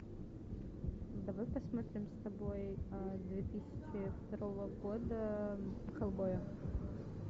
давай посмотрим с тобой две тысячи второго года хеллбоя